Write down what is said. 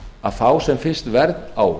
að fá sem fyrst verð á